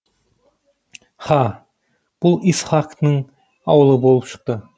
һа бұ исхақның аулы болып шықты